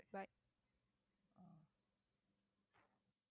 bye